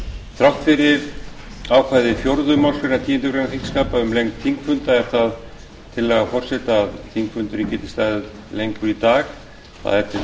þrátt fyrir ákvæði fjórðu málsgreinar tíundu greinar þingskapa um lengd þingfunda er það tillaga forseta að þingfundur geti staðið lengur í dag það er